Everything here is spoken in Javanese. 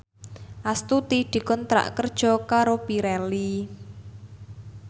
Astuti dikontrak kerja karo Pirelli